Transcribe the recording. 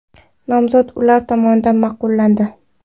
Nomzod ular tomonidan ma’qullandi.